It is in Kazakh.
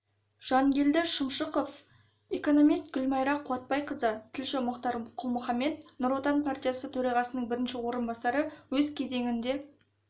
жангелді шымшықов экономист гүлмайра қуатбайқызы тілші мұхтар құл-мұхаммед нұр отан партиясы төрағасының бірінші орынбасары өз кезегінде